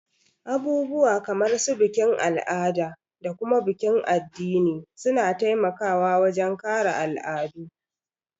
Abubuwa kamar su bikin al'ada da kuma bikin addini suna taimaka wajen kare al'adu